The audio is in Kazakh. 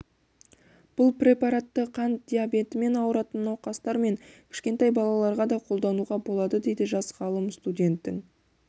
бұл препаратты қант диабетімен ауыратын науқастар мен кішкентай балаларға да қолдануға болады дейді жас ғалым студенттің